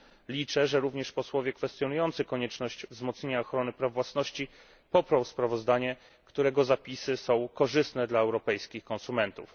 Liczę, że również posłowie kwestionujący konieczność wzmocnienia ochrony praw własności poprą sprawozdanie, którego zapisy są korzystne dla europejskich konsumentów.